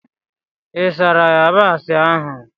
Ị sara yabasị ahụ?